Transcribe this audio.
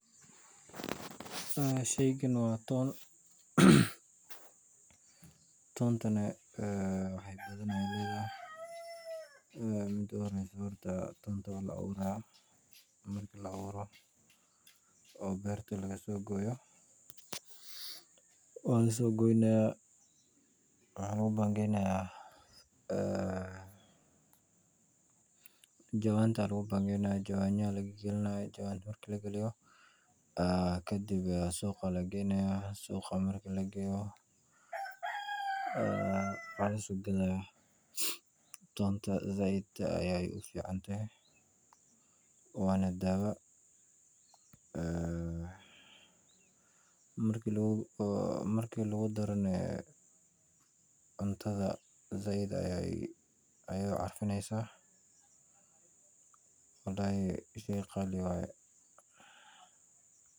Shay kaan waa toon toontani. waxaa yalaa ayay ladahay midaa u orahsoh toonata. waa laa awuurah., marki laa awuuroh. oobarta. lagsogoyoh. waa lasogoynaya. waxaa lagu bagaynayah. aa jawanta. lagu bangaynayah. jawayno. lagalinaya. marki. lagaliyoh. aa kadhib suqaa lagaynayah. suqaa, marki lagayoh. aa waa laa sogadayah. toonta. saaid. ayay u ficantahay. wana dawo aa marki marki lagu darno ah aa cuntada. saaid ayay u carfinaysah. walhi shay qali waya